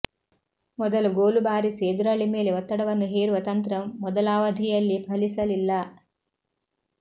ಮೊದಲು ಗೋಲು ಬಾರಿಸಿ ಎದುರಾಳಿ ಮೇಲೆ ಒತ್ತಡವನ್ನು ಹೇರುವ ತಂತ್ರ ಮೊದಲಾವಧಿಯಲ್ಲಿ ಫಲಿಸಲಿಲ್ಲ